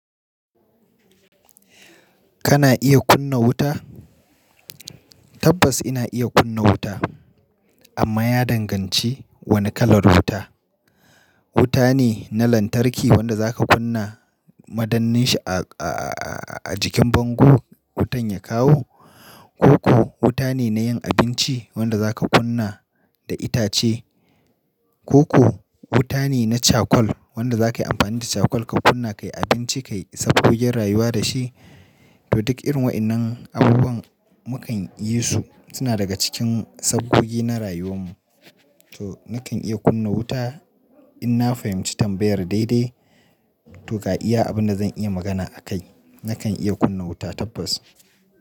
Kana iya kunna wuta? Tabbas ina iya kunna wuta amma ya danganci wani kalar wuta. Wuta ne na lantarki wanda zaka kunna madanninshi a a a a--. A jikin bango wutan ya kawo ko ko wuta ne nayin abinci wanda za ka kunna da itace ko ko wuta ne na charcoal wanda zakayi amfani da charcoal ka kunna kayi abinci kayi sabgogin rayuwa da shi. To duk irin wayannan abubuwan mukan yi su suna daga cikin sabgogi na rayuwan mu. To nakan iya kunna wuta in na fahimci tambayar daidai. To ga iya abunda zan iya magana a kai. Nakan iya kunna wuta tabbas.